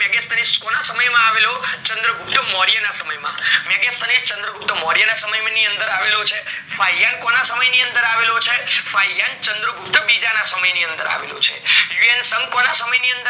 મેગસની કોના સમય માં આવેલો ચ્ન્દ્રગુપ્ત્મોર્ય ના સમય માં મેગસ્ન એ ચ્ન્દ્રગુપ્ત્મોર્ય સમય ની અંદર આવેલો છે ફાયલ કોના સમય ની અંદર આવેલો છે? ફાયન ચ્ન્દ્રગુપ્ત્મોર્ય બીજા ના સમય ની અંદર આવેલો છે હ્યુએન્સોન્ગ કોના સમય ની અંદર આવેલો છે